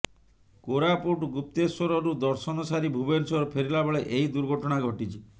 କୋରାପୁଟ ଗୁପ୍ତେଶ୍ୱରରୁ ଦର୍ଶନ ସାରି ଭୁବନେଶ୍ୱର ଫେରିଲା ବେଳେ ଏହି ଦୁର୍ଘଟଣା ଘଟିଛି